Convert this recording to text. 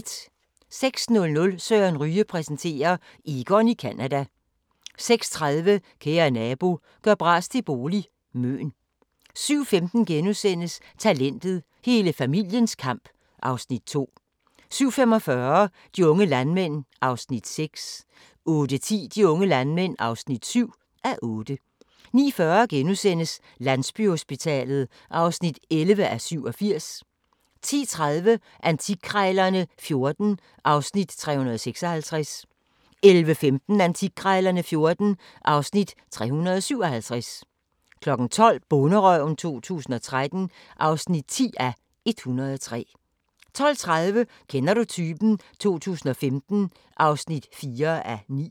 06:00: Søren Ryge præsenterer: Egon i Canada 06:30: Kære nabo – gør bras til bolig – Møn 07:15: Talentet – hele familiens kamp (Afs. 2)* 07:45: De unge landmænd (6:8) 08:10: De unge landmænd (7:8) 09:40: Landsbyhospitalet (11:87)* 10:30: Antikkrejlerne XIV (Afs. 356) 11:15: Antikkrejlerne XIV (Afs. 357) 12:00: Bonderøven 2013 (10:103) 12:30: Kender du typen? 2015 (4:9)